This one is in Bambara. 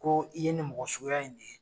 Ko i ye nin mɔgɔ suguya in de ye.